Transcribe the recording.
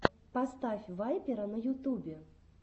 поставь вайпера на ютубе